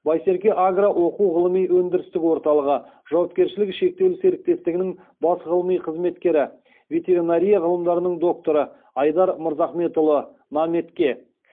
байсерке агро оқу ғылыми өндірістік орталығы жауапкершілігі шектеулі серіктестігінің бас ғылыми қызметкері ветеринария ғылымдарының докторы айдар мырзахметұлы наметке